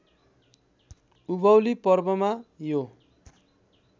उभौली पर्वमा यो